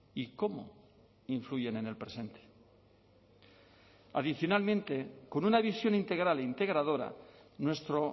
y cómo influyen en el presente adicionalmente con una visión integral e integradora nuestro